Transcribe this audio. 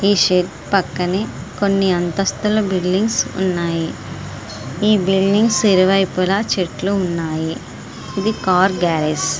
ఈ షిప్ పక్కనే కొన్ని అంతస్తుల బిల్డింగు లు ఉన్నాయి. ఈ బిల్డింగ్ ఇరువైపులా చెట్లు ఉన్నాయి. ఇది కార్ గ్యారేజ్ .